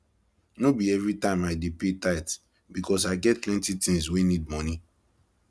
no be everytime i dey pay tithe because i get plenty tins wey need moni